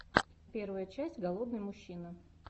первая часть голодный мужчина